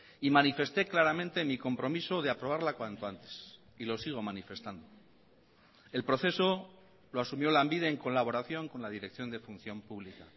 y manifesté claramente mi compromiso de aprobarla cuanto antes y lo sigo manifestando el proceso lo asumió lanbide en colaboración con la dirección de función pública